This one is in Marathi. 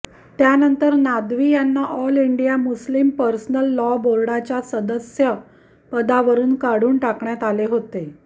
मात्र त्यानंतर नादवी यांना all India Muslim personal law बोर्डाच्या सदस्यपदावरून काढून टाकण्यात आले होते